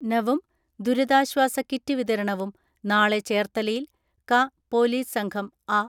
നവും ദുരിതാശ്വാസ കിറ്റ് വിതരണവും നാളെ ചേർത്തലയിൽ ക പൊലീസ് സംഘം അ